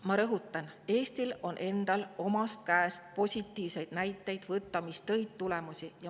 Ma rõhutan: Eestil endal on omast käest võtta positiivseid näiteid, mis tõid tulemusi.